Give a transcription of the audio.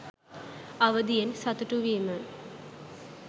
අවදියෙන් සතුටු වීම